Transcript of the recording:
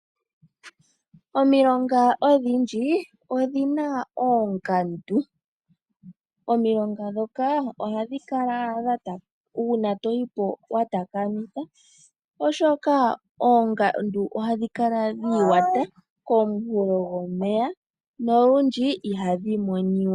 Omilonga odhindji odhina oongandu omilonga dhoka ohadhi kala uuna toyipo watakamitha oshoka oongandu ohadhi kala dhiiwata koonkulo dhomeya nolundji ihadhi monika.